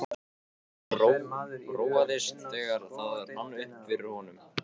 Hann róaðist, þegar það rann upp fyrir honum.